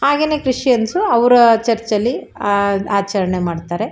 ಹಾಗೇನೆ ಕ್ರಿಶ್ಚಿಯನಸು ಅವರ ಚರ್ಚ್ ಅಲ್ಲಿ ಅಹ್ ಆಚರಣೆ ಮಾಡತ್ತಾರೆ.